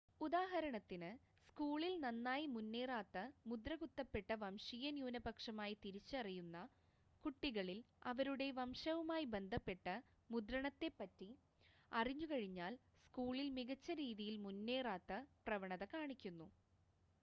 ഉദാഹരണത്തിന് സ്കൂളിൽ നന്നായി മുന്നേറാത്ത മുദ്രകുത്തപ്പെട്ട വംശീയ ന്യൂനപക്ഷമായി തിരിച്ചറിയുന്ന കുട്ടികൾ അവരുടെ വംശവുമായി ബന്ധപ്പെട്ട മുദ്രണത്തെപ്പറ്റി അറിഞ്ഞുകഴിഞ്ഞാൽ സ്‌കൂളിൽ മികച്ച രീതിയിൽ മുന്നേറാത്ത പ്രവണത കാണിക്കുന്നു